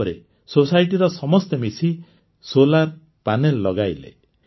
ତାପରେ ସୋସାଇଟିର ସମସ୍ତେ ମିଶି ସୌର ପ୍ୟାନେଲ ଲଗାଇଲେ